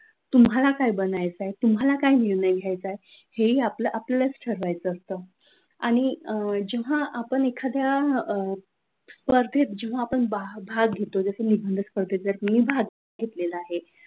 तुम्हाला काय निर्णय घ्यायचा आहे आपल्याला आपलेच ठरवायचं असतं आणि जेव्हा आपण एखाद्या अ स्पर्धेत जेव्हा आपण भाग घेतो जस की मी निबंध स्पर्धेत मी भाग घेतलेला आहे,